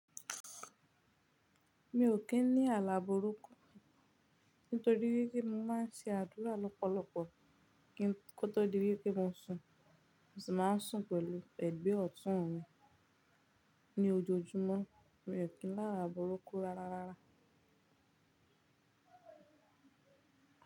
Mi ò kí ń ní àláborúkọ nítorí wípé mo máa ń se àdúrà lọ́pọ̀lọpọ̀ kí kótó di wípé mo sùn. Mo sì máa ń sùn pẹ̀lú ẹ̀gbẹ́ ọ̀tún mi ní ojoojúmọ́. Mi ò kí ń lá àlá borúkọ rárá.